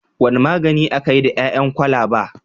Wane magani ake yi da ƴaƴan kwalaba?